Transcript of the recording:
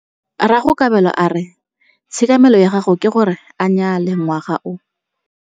Rragwe Kabelo a re tshekamêlô ya gagwe ke gore a nyale ngwaga o.